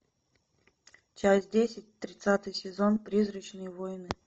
часть десять тридцатый сезон призрачные воины